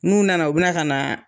N'u nana u bɛna ka na